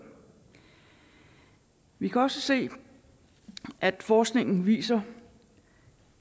vi kan også se at forskningen viser